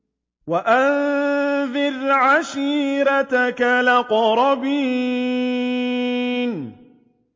وَأَنذِرْ عَشِيرَتَكَ الْأَقْرَبِينَ